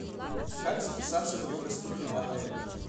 как записаться в йога студию в отеле